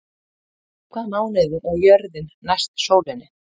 Í hvaða mánuði er jörðin næst sólinni?